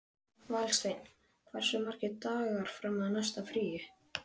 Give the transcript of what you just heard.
Valsteinn, hversu margir dagar fram að næsta fríi?